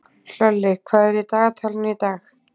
Hlölli, hvað er í dagatalinu í dag?